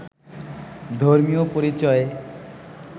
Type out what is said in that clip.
ধর্মীয় পরিচয়ে